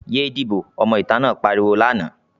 "Yé díbò!", ọmọ ìta náà pariwo lánàá.